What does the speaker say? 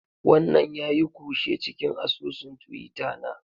Wannan yayi kushe cikin asusun twitter na.